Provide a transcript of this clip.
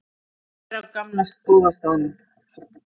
Er á gamla góða staðnum.